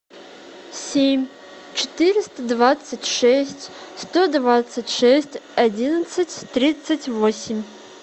семь четыреста двадцать шесть сто двадцать шесть одиннадцать тридцать восемь